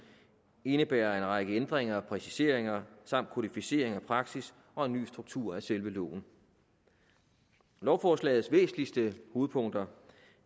indebærer en række ændringer og præciseringer samt kodificering af praksis og en ny struktur af selve loven lovforslagets væsentligste hovedpunkter